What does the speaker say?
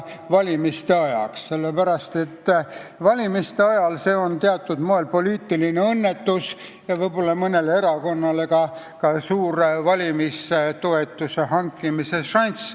Sellepärast, et seekordsete valimiste ajal on see poliitiline õnnetus, kuigi mõnele erakonnale ka suur valimistoetuse hankimise šanss.